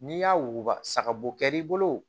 N'i y'a wuguba saga bo kɛr'i bolo